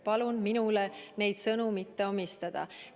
Palun minule neid sõnu mitte omistada!